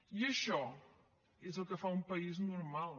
i això és el que fa un país normal